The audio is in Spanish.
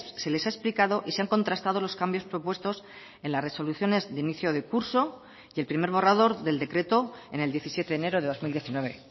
se les ha explicado y se han contrastado los cambios propuestos en las resoluciones de inicio de curso y el primer borrador del decreto en el diecisiete de enero de dos mil diecinueve